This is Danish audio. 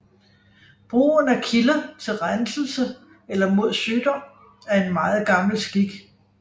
Brugen af kilder til renselse eller mod sygdom er en meget gammel skik